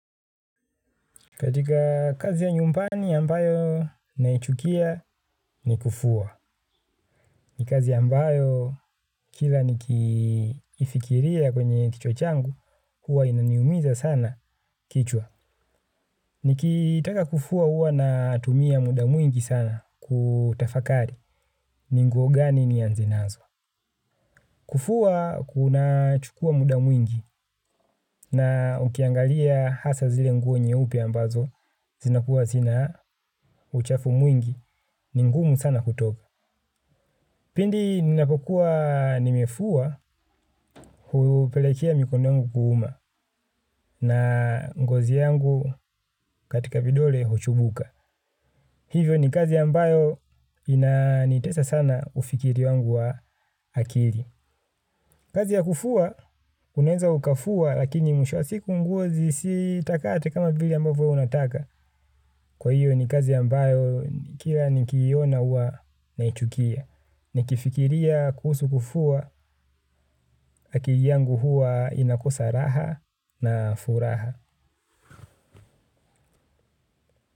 Katika kazi ya nyumbani ambayo naichukia ni kufua. Ni kazi ambayo kila ni kifikiria kwenye kichwa changu, hua inaniumiza sana kichwa. Ni kitaka kufua hua natumia muda mwingi sana kutafakari ni nguo gani nianze nazo. Kufua kuna chukua muda mwingi na ukiangalia hasa zile nguo nyeupe ambazo zinakuwa zina uchafu mwingi. Ni ngumu sana kutoka. Pindi ninapokua nimefua hupelekea mikono yangu kuuma na ngozi yangu katika pidole huchubuka. Hivyo ni kazi ambayo inanitesa sana ufikiri wangu wa akili. Kazi ya kufua, unaeza ukafua lakini mwisho wa siku nguo zisi takate kama vile ambavo wewe unataka. Kwa hiyo ni kazi ambayo kila nikiona uwa naichukia. Nikifikiria kuhusu kufua, akili yangu hua inakosa raha na furaha.